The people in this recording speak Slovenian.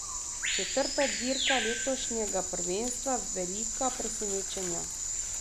Četrta dirka letošnjega prvenstva, velika presenečenja.